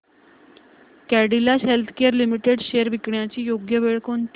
Cadila healthcare limited shares विकण्याची योग्य वेळ कोणती